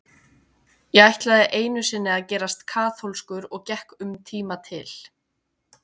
Ég ætlaði einu sinni að gerast kaþólskur og gekk um tíma til